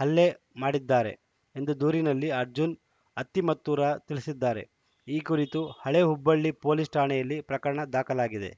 ಹಲ್ಲೆ ಮಾಡಿದ್ದಾರೆ ಎಂದು ದೂರಿನಲ್ಲಿ ಅರ್ಜುನ್‌ ಅತ್ತಿಮತ್ತೂರ ತಿಳಿಸಿದ್ದಾರೆ ಈ ಕುರಿತು ಹಳೇ ಹುಬ್ಬಳ್ಳಿ ಪೊಲೀಸ್‌ ಠಾಣೆಯಲ್ಲಿ ಪ್ರಕರಣ ದಾಖಲಾಗಿದೆ